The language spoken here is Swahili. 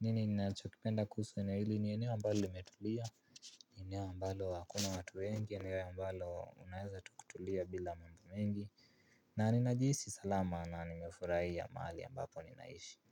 Nini ninachokipenda kuhusu eneo hili ni eneo ambalo limetulia. Eneo mbalo hakuna watu wengi eneo ambalo unaweza tu kutulia bila mambo mengi. Na ninajisi salama na nimefurahia mahali ambapo ninaishi.